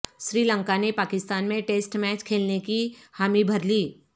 سری لنکا نے پاکستان میں test match کھیلنے کی ہامی بھرلی